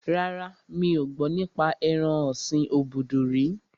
Rárá, mi ò gbọ́ nípa ẹran ọ̀sin obudu rí